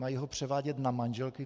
Mají ho převádět na manželky?